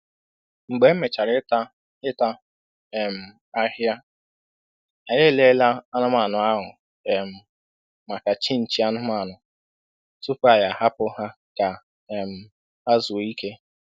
Mgbe e mechara ịta ịta um ahịhịa, anyị e lelee anụmanụ ahụ um maka chịnchị anụmanụ, tupu anyị a hapụ ha ka um ha zuo ike.